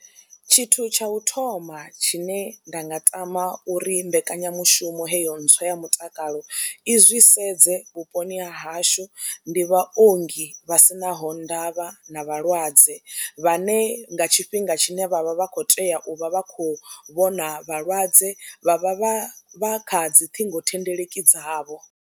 Tshithu tsha u thoma tshine nda nga tama uri mbekanyamushumo heyo ntswa ya mutakalo i zwi sedze vhuponi ha hashu ndi vhaongi vha si naho ndavha na vhalwadze vhane nga tshifhinga tshine vha vha vha khou tea u vha vha khou vhona vhalwadze vha vha vha vha kha dzi ṱhingothendeleki dzavho.